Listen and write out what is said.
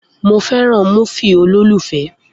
Mo fẹ́ràn múfì olólùfẹ́